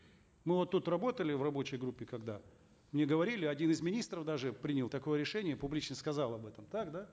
мы вот тут работали в рабочей группе когда мне говорили один из министров даже принял такое решение публично сказал об этом так да